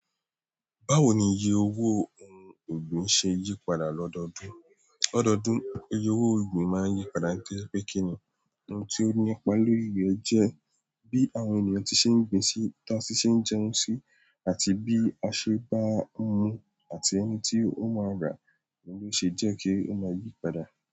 Báwo ni iye owó ohun ọ̀gbìn ṣe yípadà lọ́dọọdún? Lọ́dọọdún, iye owó ọ̀gbìn máa ń yípadà nítorí pé kíni ohun tí ó nípa lórí rẹ̀ jẹ́ bí àwọn ènìyàn tí ṣe ń gbìn sí táa ti ṣe ń jẹun sí àti bí a ṣe bá hun àti ẹni tí ó máa rà lọ́ ṣe jẹ́ kí ó máa yípadà.